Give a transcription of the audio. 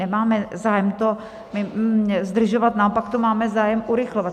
Nemáme zájem to zdržovat, naopak to máme zájem urychlovat.